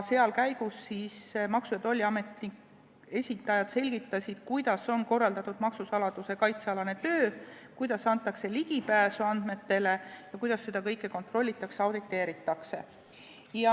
Selle käigus siis Maksu- ja Tolliameti esindajad selgitasid, kuidas on korraldatud maksusaladuse kaitse alane töö, kuidas antakse ligipääse andmetele ja kuidas seda kõike kontrollitakse-auditeeritakse.